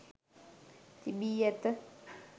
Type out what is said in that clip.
තිබී ඇත.